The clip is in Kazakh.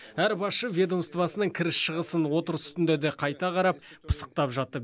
әр басшы ведомствосының кіріс шығысын отырыс үстінде де қайта қарап пысықтап жатты